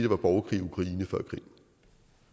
var borgerkrig